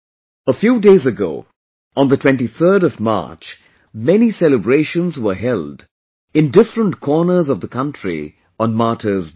A few days ago, on the 23rd of March, many celebrations were held in different corners of the country on Martyrs' Day